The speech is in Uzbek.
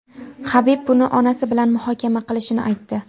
Habib buni onasi bilan muhokama qilishini aytdi.